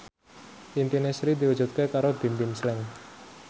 impine Sri diwujudke karo Bimbim Slank